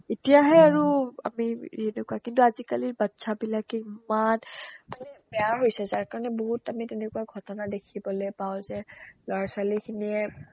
এতিয়াহে আৰু আমি এনেকুৱা আজিকালিৰ বাচ্ছাবিলাকে ইমান মানে বেয়া হৈছে যাৰ কাৰণে বহুত আমি তেনেকুৱা ঘটনা দেখিবলৈ পাও যে ল'ৰা-ছোৱালীখিনিয়ে